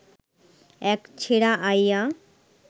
এক ছেড়া আইয়া